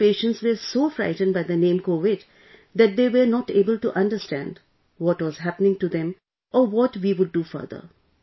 All the patients were so frightened by the name Covid that they were not able to understand what was happening to them or what we would do further